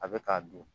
A bɛ k'a dun